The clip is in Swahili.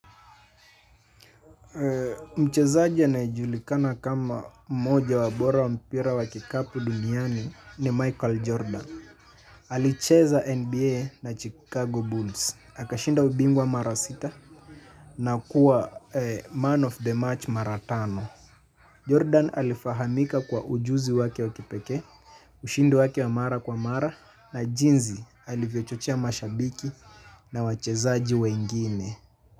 Mchezaji anayejulikana kama moja wabora wa mpira wa kikapu duniani ni Michael Jordan. Alicheza NBA na Chicago Bulls. Akashinda ubingwa mara sita na kuwa man of the match maratano Jordan alifahamika kwa ujuzi wake wakipekee. Ushindi wake wa mara kwa mara na jinsi alivyochochea mashabiki na wachezaji wengine.